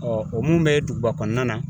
o mun bɛ duguba kɔnɔna na